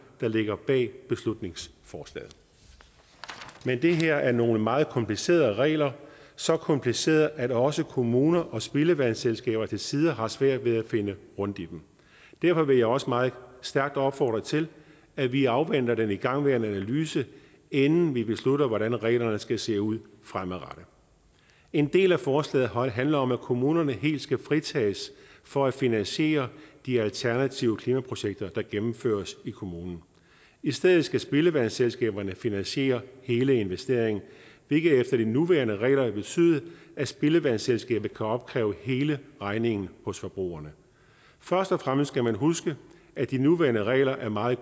der ligger bag beslutningsforslaget men det her er nogle meget komplicerede regler så komplicerede at også kommuner og spildevandsselskaber til tider har svært ved at finde rundt i dem derfor vil jeg også meget stærkt opfordre til at vi afventer den igangværende analyse inden vi beslutter hvordan reglerne skal se ud fremadrettet en del af forslaget handler om at kommunerne helt skal fritages for at finansiere de alternative klimaprojekter der gennemføres i kommunerne i stedet skal spildevandsselskaberne finansiere hele investeringen hvilket efter de nuværende regler vil betyde at spildevandsselskabet kan opkræve hele regningen hos forbrugerne først og fremmest skal man huske at de nuværende regler er meget